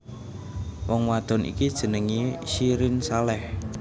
Wong wadon iki jenengé Syirin Saleh